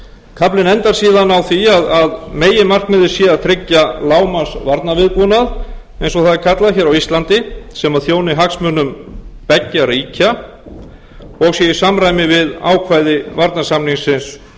kaflinn endar síðan á því að meginmarkmiðið sé að tryggja lágmarksvarnarviðbúnað eins og það er kallað hér á íslandi sem þjóni hagsmunum beggja ríkja og sé í samræmi við ákvæði varnarsamningsins